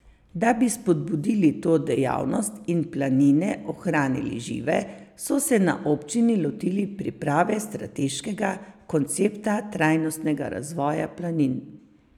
Da bi spodbudili to dejavnost in planine ohranili žive, so se na občini lotili priprave strateškega koncepta trajnostnega razvoja planin.